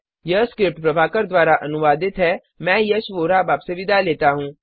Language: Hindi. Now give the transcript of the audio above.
यह स्क्रिप्ट प्रभाकर द्वारा अनुवादित है मैं यश वोरा अब आपसे विदा लेता हूँ